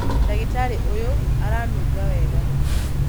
Ndagĩtarĩ ũyũ aranunga wega